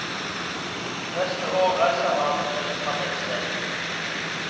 Neste år reiser han et annet sted.